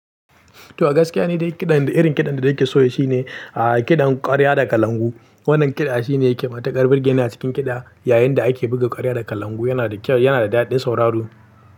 To a gaskiya ni dai kiɗan, irin kiɗan da nake so shine, aaa kiɗan ƙwarya da kalangu. Wannan kiɗa shine yake matuƙar burge ni a cikin kiɗa, yayin da ake buga ƙwarya da kalangu yana da kyau, yana da daɗin sauraro.